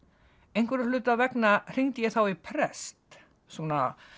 einhverra hluta vegna hringdi ég þá í prest svona